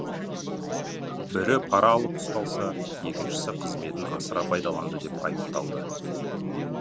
бірі пара алып ұсталса екіншісі қызметін асыра пайдаланды деп айыпталды